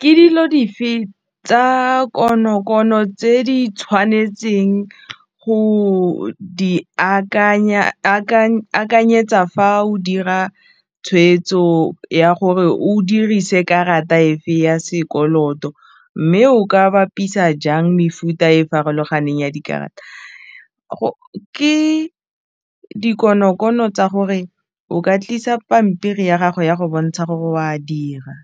Ke dilo dife tsa konokono tse di tshwanetseng go di akanyetsa fa o dira tshweetso ya gore o dirise karata efe ya sekoloto mme o ka bapisa jang mefuta e farologaneng ya dikarata ke dikonokono tsa gore o ka tlisa pampiri ya gago ya go bontsha gore oa dira,